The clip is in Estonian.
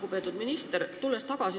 Lugupeetud minister!